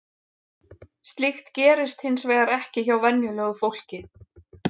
Slíkt gerist hins vegar ekki hjá venjulegu fólki.